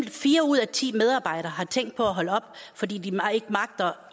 at fire ud af ti medarbejdere har tænkt på at holde op fordi de ikke magter